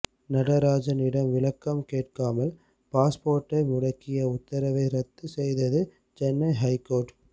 நடராஜனிடம் விளக்கம் கேட்காமல் பாஸ்போர்ட்டை முடக்கிய உத்தரவை ரத்து செய்தது சென்னை ஹைகோர்ட்